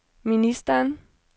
ministeren